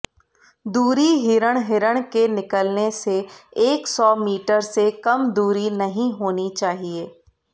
दूरी हिरण हिरण के निकलने से एक सौ मीटर से कम दूरी नहीं होनी चाहिए